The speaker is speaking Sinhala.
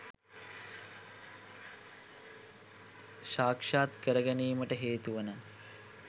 සාක්ෂාත් කර ගැනීමට හේතුවනවා.